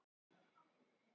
En annar aðilinn var látinn.